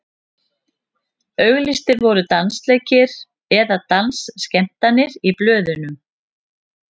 auglýstir voru dansleikir eða dansskemmtanir í blöðum